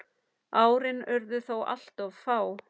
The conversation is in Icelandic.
Árin urðu þó alltof fá.